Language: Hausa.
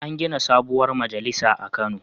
An gina sabuwar majalisa a Kano.